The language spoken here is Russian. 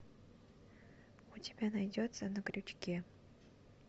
у тебя найдется на крючке